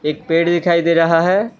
एक पेड़ दिखाई दे रहा है।